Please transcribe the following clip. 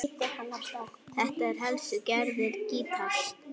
Þetta eru helstu gerðir gítars